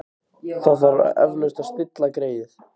Það þarf eflaust að stilla greyið.